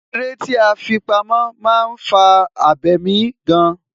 Eré tí a fi pamó, máa ń fà abemi gan.